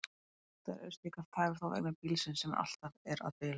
Oftar eru slíkar tafir þó vegna bílsins, sem alltaf er að bila.